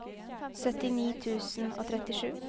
syttini tusen og trettisju